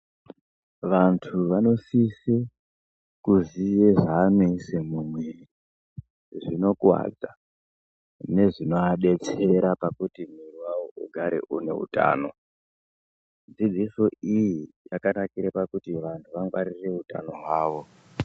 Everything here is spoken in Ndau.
Vandu vanosise kuzive zvavanoise mumwiri zvonokuwadza nezvinovadetsera kuti mwiri wavo ugare une utano dzidziso iyi yakanakire pakuti vanhu wangwarire utano hwavo.